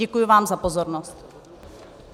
Děkuji vám za pozornost.